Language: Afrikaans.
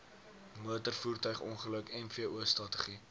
motorvoertuigongeluk mvo strategie